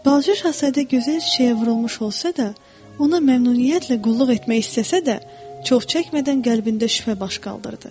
Balaca şahzadə gözəl çiçəyə vurulmuş olsa da, ona məmnuniyyətlə qulluq etmək istəsə də, çox çəkmədən qəlbində şübhə baş qaldırdı.